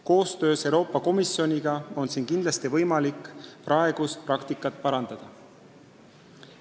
Koostöös Euroopa Komisjoniga on kindlasti võimalik praegust praktikat parandada.